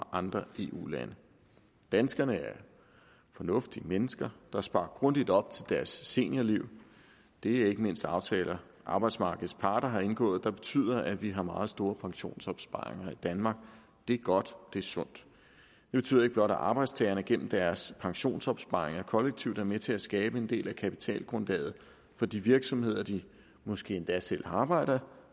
andre eu lande danskerne er fornuftige mennesker der sparer grundigt op til deres seniorliv det er ikke mindst aftaler arbejdsmarkedets parter har indgået der betyder at vi har meget store pensionsopsparinger i danmark det er godt det er sundt det betyder ikke blot at arbejdstagerne gennem deres pensionsopsparinger kollektivt er med til at skabe en del af kapitalgrundlaget for de virksomheder de måske endda selv arbejder